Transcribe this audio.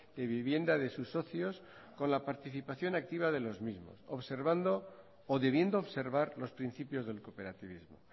de vivienda de sus socios con la participación activa de los mismos observando o debiendo observar los principios del cooperativismo